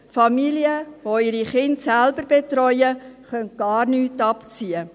Familien, welche ihre Kinder selbst betreuen, können gar nichts abziehen.